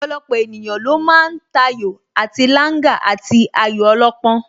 Ọ̀pọ̀lọpọ̀ ènìyàn ló ma ń tayò àti Langa àti ayò ọlọ́pọ́n